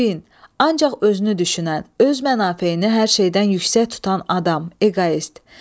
Xudbin, ancaq özünü düşünən, öz mənafeyini hər şeydən yüksək tutan adam, eqoist.